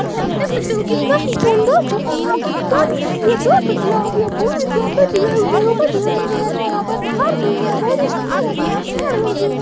यहाँ पर देख सकते हो कितना ही शानदार जगह है यहाँ पर पानी भी है दो ठो तालाब बहुत ही शानदार जगह है घर भी हैं बहोत ही शानदार जगह हैं पेड़ उड़--